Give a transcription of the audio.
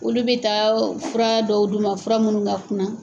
Olu bɛ taa fura dɔw du ma, fura munnu ka kunna.